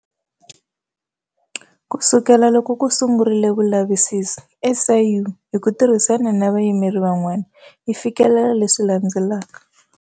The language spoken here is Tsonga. Ku sukela loko ku sungurile vulavisisi, SIU, hi ku tirhisana na vayimeri van'wana, yi fikelele leswi landzelaka.